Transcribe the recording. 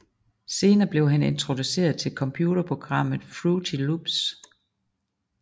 Senere blev han introduceret til computerprogrammet Fruity Loops